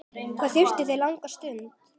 Hvað þurfa þau langa suðu?